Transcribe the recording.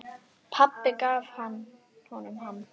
Pabbi hans gaf honum hana.